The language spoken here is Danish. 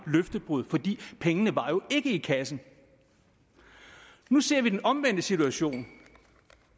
løftebrud for pengene var jo ikke i kassen nu ser vi den omvendte situation